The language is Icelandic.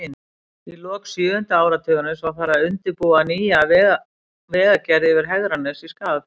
Í lok sjöunda áratugarins var farið að undirbúa nýja vegagerð yfir Hegranes í Skagafirði.